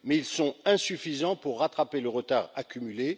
Mais ils sont insuffisants pour rattraper le retard accumulé.